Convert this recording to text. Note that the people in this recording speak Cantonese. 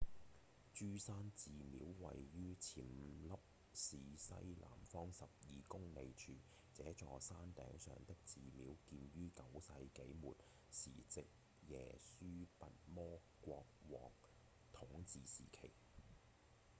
豬山寺廟位於暹粒市西南方12公里處這座山頂上的寺廟建於9世紀末時值耶輸跋摩國王統治時期